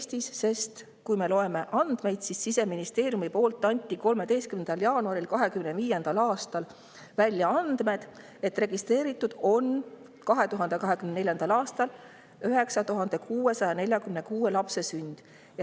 Siseministeeriumi 2025. aasta 13. jaanuaril andmete kohaselt registreeriti 2024. aastal 9646 lapse sünd.